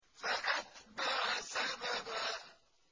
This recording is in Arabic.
فَأَتْبَعَ سَبَبًا